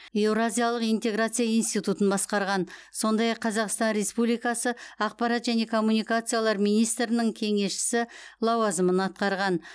еуразиялық интеграция институтын басқарған сондай ақ қазақстан республикасы ақпарат және коммуникациялар министрінің кеңесшісі лауазымын атқарған